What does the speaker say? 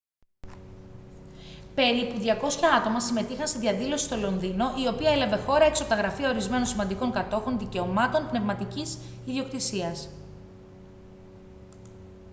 περίπου 200 άτομα συμμετείχαν σε διαδήλωση στο λονδίνο η οποία έλαβε χώρα έξω από τα γραφεία ορισμένων σημαντικών κατόχων δικαιωμάτων πνευματικής ιδιοκτησίας